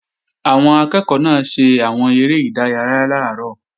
Àwọn akẹ́ẹ̀kọ́ náà ṣe àwọn eré ìdárayá làárọ̀